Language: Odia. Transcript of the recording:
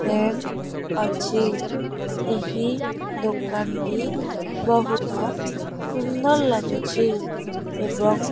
ଫ୍ରାମେ ଅଛି ଏହି ଦୋକାନ ବହୁତ ସୁନ୍ଦର ଲାଗୁଛି ଏବଂ --